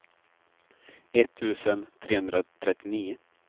etttusen trehundratrettionio